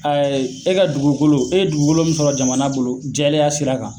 Ayi e ka dugukolo ,e ye dugukolo mun sɔrɔ jamana bolo jɛlen ya sira kan